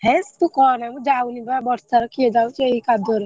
ହେସ ତୁ କନା ମୁ ଯାଉନି ବା ବର୍ଷା ରେ କିଏ ଯାଉଛି ଏଇ କାଦୁଅ ରେ।